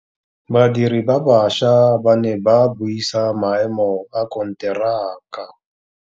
Badiri ba baša ba ne ba buisa maêmô a konteraka.